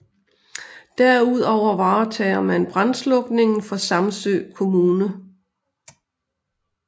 Derudover varetager man brandslukningen for Samsø Kommune